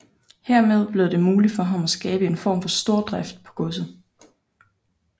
Hermed blev det muligt for ham at skabe en form for stordrift på godset